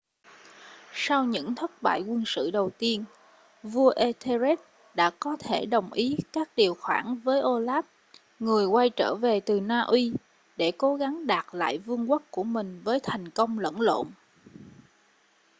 sau những thất bại quân sự đầu tiên vua etherlred đã có thể đồng ý các điều khoản với olaf người quay trở về từ na uy để cố gắng đạt lại vương quốc của mình với thành công lẫn lộn